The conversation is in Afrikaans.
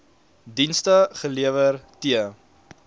dienste gelewer t